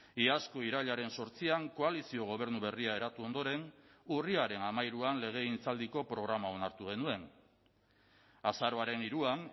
iazko irailaren zortzian koalizio gobernu berria eratu ondoren urriaren hamairuan legegintzaldiko programa onartu genuen azaroaren hiruan